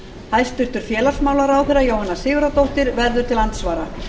hæstvirts félagsmálaráðherra jóhanna sigurðardóttir verður til andsvara